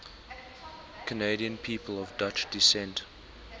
canadian people of dutch descent